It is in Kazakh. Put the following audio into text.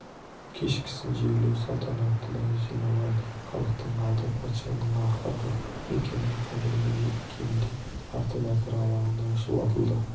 кешкісін жерлеу салтанатына жиналған халықтың алды патшаның ақырғы мекені қабіріне жеткенде арты базар алаңында шұбатылды